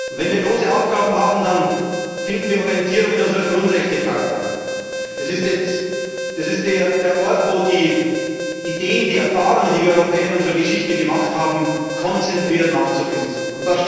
Wenn wir große Aufgaben haben, dann finden wir Orientierung in unserer Grundrechtecharta. Das ist der Ort, wo die Ideen, die Erfahrungen, die wir Europäer in unserer Geschichte gemacht haben, konzentriert nachzulesen sind.